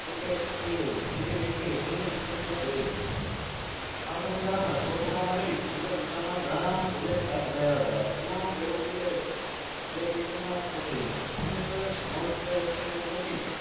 તરીકે થયું હતું તેની વેચની ઓગણીસો પીસ્તાલીસમાં થયી હતી આ સમય ગાળામાં સ્લોટ program આધારિત ગાના પ્રોજેક્ટ હાથ ધરાયા હતા એમનો પેલું પ્રોજેક્ટ બ્રિટન માં પુરો થયો machine